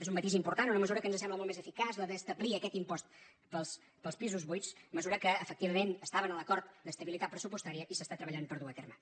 és un matís important una mesura que ens sembla molt més eficaç la d’establir aquest impost pels pisos buits mesura que efectivament estava en l’acord d’estabilitat pressupostària i s’està treballant per dur·la a terme